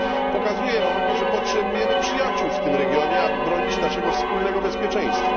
Pokazuje ono, że potrzebujemy przyjaciół w tym regionie, aby bronić naszego wspólnego bezpieczeństwa.